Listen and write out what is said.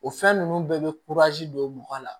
O fɛn ninnu bɛɛ bɛ don mɔgɔ la